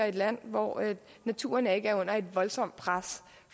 et land hvor naturen ikke er under et voldsomt pres